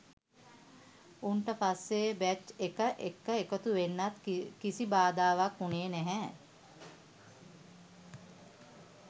උන් ට පස්සේ බැච් එක එක්ක එකතුවෙන්නත් කිසි බාධාවක් උනේ නැහැ